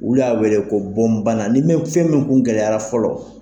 Olu y'a wele ko bonbanna ni min ni fɛn min kun gɛlɛyara fɔlɔ.